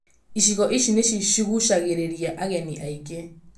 Icigo ici nĩ ciguucagĩrĩria ageni aingĩ.